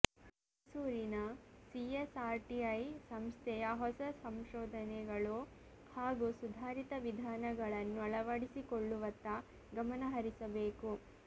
ಮೈಸೂರಿನ ಸಿಎಸ್ಆರ್ಟಿಐ ಸಂಸ್ಥೆಯ ಹೊಸ ಸಂಶೋಧನೆಗಳು ಹಾಗೂ ಸುಧಾರಿತ ವಿಧಾನಗಳನ್ನು ಅಳವಡಿಸಿಕೊಳ್ಳುವತ್ತ ಗಮನ ಹರಿಸಬೇಕು